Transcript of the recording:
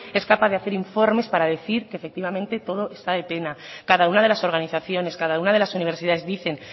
es capaz de hacer informes para decir que efectivamente todo está de pena cada una de las organizaciones cada una de las universidades dicen